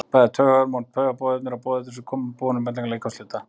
bæði taugahormón og taugaboðefni eru boðefni sem koma boðum milli líkamshluta